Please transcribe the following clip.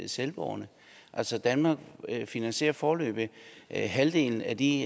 selvbåren altså danmark finansierer foreløbig halvdelen af de